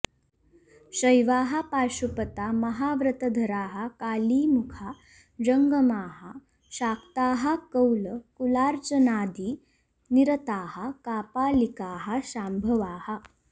शैवाः पाशुपता महाव्रतधराः काली मुखा जङ्गमाः शाक्ताः कौल कुलार्चनादि निरताः कापालिकाः शाम्भवाः